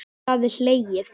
Það er hlegið.